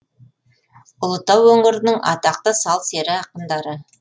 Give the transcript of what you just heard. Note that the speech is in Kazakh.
ұлытау өңірінің атақты сал сері ақындары